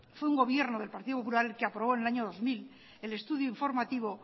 fue un gobierno del partido popular el que aprobó en el año dos mil el estudio informativo